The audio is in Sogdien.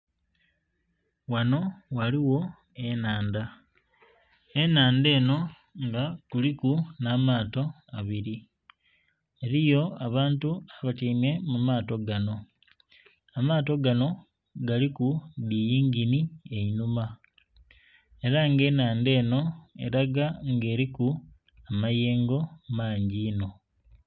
Ghanho ghaligho enhandha, enhandha enho nga kuliku nha maato abiri, eriyo abantu abatyaime mu mato ganho. Amaato ganho galiku dhi yinginhi einhuma era nga enhandha enho elaga nga eriku amayengo mangi inho.